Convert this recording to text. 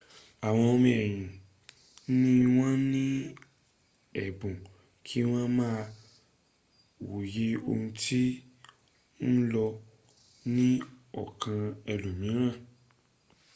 àwọn ọmọ ènìyàn ni wọ́n ni ẹ̀bùn kí wọ́n máa wòye ohun tó ń lọ ni ọkan ẹlòmìíràn